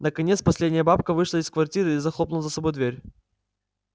наконец последняя бабка вышла из квартиры и захлопнула за собой дверь